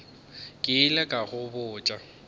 ke ile ka go botša